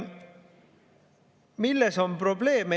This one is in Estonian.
Milles on probleem?